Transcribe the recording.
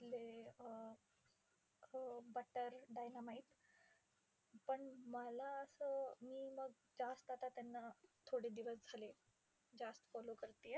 अं हो, butter, dynamite. पण मला असं मी मग जास्त आता त्यांना थोडे दिवस झाले जास्त follow करतेय.